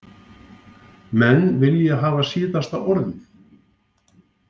Menn vilja hafa síðasta orðið